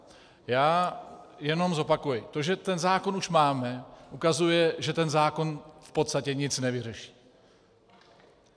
Já jenom zopakuji, to, že ten zákon už máme, ukazuje, že ten zákon v podstatě nic nevyřeší.